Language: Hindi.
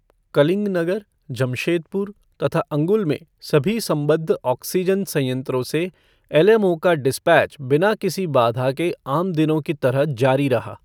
कलिंगनगर, जमशेदपुर तथा अंगुल में सभी संबद्ध ऑक्सीजन संयंत्रों से एलएमओ का डिस्पैच बिना किसी बाधा के आम दिनों की तरह जारी रहा।